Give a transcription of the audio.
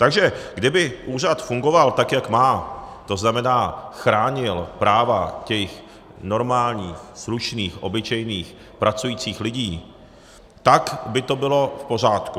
Takže kdyby úřad fungoval, tak jak má, to znamená chránil práva těch normálních, slušných, obyčejných, pracujících lidí, tak by to bylo v pořádku.